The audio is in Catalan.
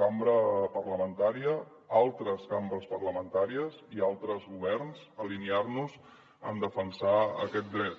cambra parlamentària altres cambres parlamentàries i altres governs alinear nos en defensar aquest dret